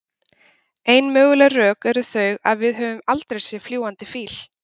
Ein möguleg rök eru þau að við höfum aldrei séð fljúgandi fíl.